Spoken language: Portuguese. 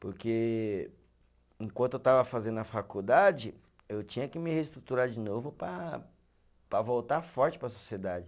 Porque enquanto eu estava fazendo a faculdade, eu tinha que me reestruturar de novo para para voltar forte para a sociedade.